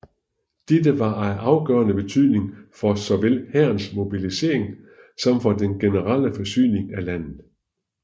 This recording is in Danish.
Dette var af afgørende betydning for såvel hærens mobilisering som for den generelle forsyning af landet